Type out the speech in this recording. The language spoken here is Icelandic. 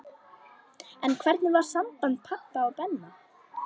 En hvernig var samband pabba og Benna?